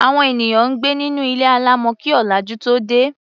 Àwọn ènìyàn gbé nínú ilé alámọ̀ kí ọ̀làjú tóo dé.